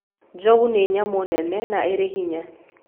Njogu nĩ nyamũ nene na ĩrĩ hinya.